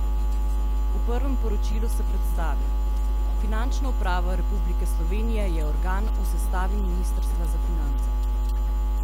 V prvem poročilu se predstavi: "Finančna uprava Republike Slovenije je organ v sestavi ministrstva za finance.